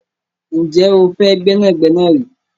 Ǹjẹ́ o fẹ́ gbẹ́nàgbẹ́nà rí?